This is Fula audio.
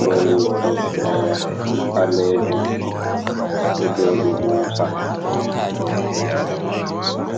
lowi toggore ɓalejum ɗo joɗi moosa.